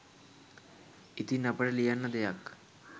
ඉතින් අපට ලියන්න දෙයක්